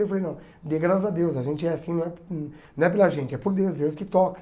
Eu falei, não, dê graças a Deus, a gente é assim, não é não é pela gente, é por Deus, Deus que toca.